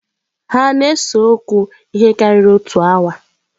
Hà na-ese okwu ihe karịrị otu awa?